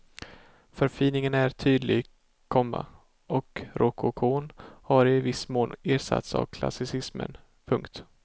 Förfiningen är tydlig, komma och rokokon har i viss mån ersatts av klassicismen. punkt